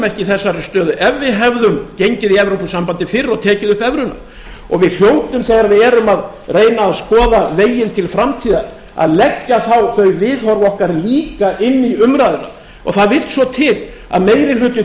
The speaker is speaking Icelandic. ekki í þessari stöðu ef við hefðum gengið í evrópusambandið fyrr og tekið upp evruna við hljótum þegar við erum að reyna að skoða veginn til framtíðar að leggja þá þau viðhorf okkar líka inn í umræðuna og það vill svo til að meiri hluti